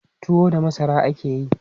Tuwo daga masara ake yi.